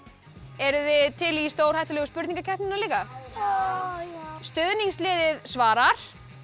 eruð þið til í stórhættulegu spurningakeppnina líka já stuðningsliðið svara